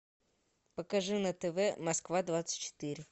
покажи на тв москва двадцать четыре